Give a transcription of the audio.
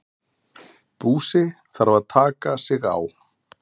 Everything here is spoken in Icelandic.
Búsi þarf að taka sig á.